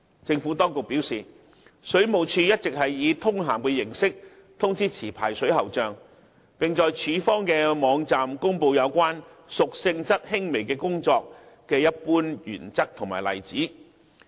政府當局表示，水務署一直是以通函的形式通知持牌水喉匠，並在署方的網站公布有關"屬性質輕微的工作"的一般原則及例子。